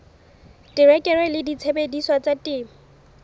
terekere le disebediswa tsa temo